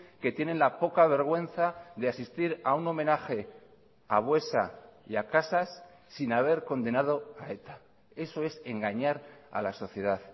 que tienen la poca vergüenza de asistir a un homenaje a buesa y a casas sin haber condenado a eta eso es engañar a la sociedad